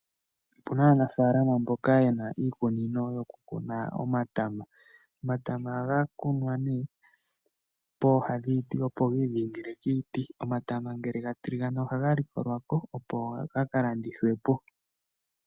Opu na aanafalama mboka ye na iikunino yokukuna omatama. Omatama ohaga kunwa nee pooha dhiiti, opo gi idhingile kiiti. Omatama ngele ga tiligana ohaga likolwa ko, opo ga ka landithwe po.